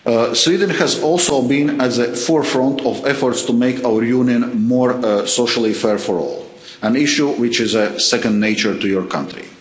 Sweden has also been at the forefront of efforts to make our Union more socially fair for all, an issue which is second nature to your country.